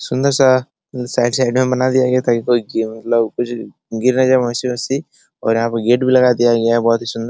सुन्दर सा side side में बना दिया गया है ताकि कोई गी मतलब कुछ गिर ना जाये और यहाँ पे गेट भी लगा दिया गया है बहुत ही सुन्दर --